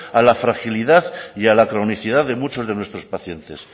a la fragilidad y a la cronicidad de muchos de nuestros pacientes